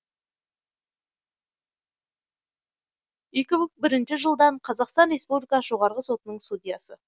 екі мың бірінші жылдан қазақстан республикасы жоғарғы сотының судьясы